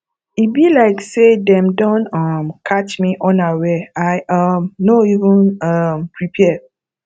e be like say dem don um catch me unaware i um no even um prepare